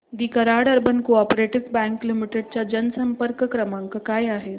दि Karad urban co-op bank limited चा जनसंपर्क क्रमांक काय आहे